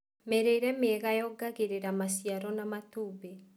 Mĩrĩre mĩega yongagĩrĩra maciaro ma matumbĩ.